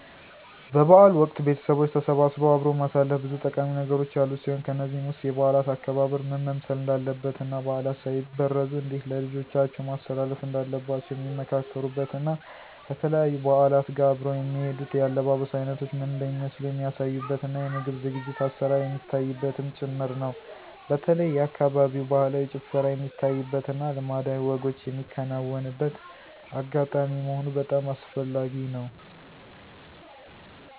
በ በዓል ወቅት ቤተቦች ተሰባስበው አብሮ ማሳለፍ ብዙ ጠቃሚ ነገሮች ያሉት ሲሆን ከነዚህም ውስጥ የበዓላት አከባበር ምን መምሰል እንዳለበት እና ባዕላት ሳይበረዙ እንዴት ለልጆቻቸው ማስተላለፍ እንዳለባቸዉ ሚመካከሩበት እና ከተለያዩ በዓላት ጋር አብረው የሚሄዱት የአለባበስ አይነቶች ምን እንደሚመስሉ የሚያሳዩበት እና የምግብ ዝግጅት(አሰራር) የሚታይበትም ጭምር ነው። በተለይ የአካባቢው ባህላዊ ጭፈራ የሚታይበት እና ልማዳዊ ወጎች ሚከናወንበት አጋጣሚ መሆኑ በጣም አስፈላጊ ነው።